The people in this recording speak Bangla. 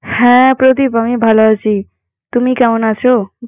হ্যাঁ, প্রদীপ আমি ভালো আছি। তুমি কেমন আছো?